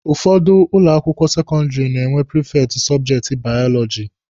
Ụfọdụ ụlọ akwụkwọ sekọndịrị na-enwe prifekti sọbjekti baọlọjị.